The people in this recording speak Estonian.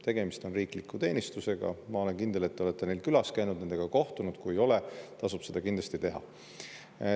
Tegemist on riikliku teenistusega, ma olen kindel, et te olete neil külas käinud, nendega kohtunud, või kui ei ole, siis tasub seda kindlasti teha.